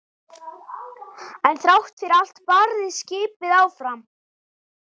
En þrátt fyrir allt barðist skipið áfram.